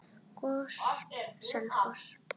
GOS- Selfoss